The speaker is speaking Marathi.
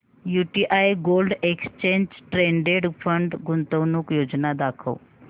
UTI gold exchange traded fund गुंतवणूक योजना दाखव